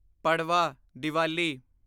Padwa Diwali